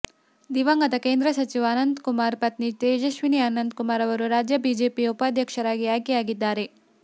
ದಿವಂಗತ ಕೇಂದ್ರ ಸಚಿವ ಅನಂತ್ ಕುಮಾರ್ ಪತ್ನಿ ತೇಜಸ್ವಿನಿ ಅನಂತ್ ಕುಮಾರ್ ಅವರು ರಾಜ್ಯ ಬಿಜೆಪಿಯ ಉಪಾಧ್ಯಕ್ಷರಾಗಿ ಆಯ್ಕೆಯಾಗಿದ್ದಾರೆ